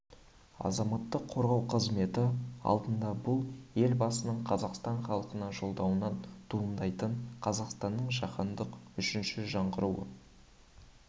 азаматтық қорғау қызметі алдында бұл елбасының қазақстан халқына жолдауынан туындайтын қазақстанның жаһандық үшінші жаңғыруы